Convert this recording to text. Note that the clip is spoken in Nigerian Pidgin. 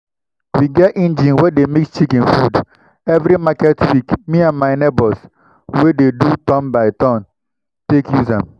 we get engine wey dey mix chicken food. every market week me and my neighbors we dey do turn-by-turn take use am. um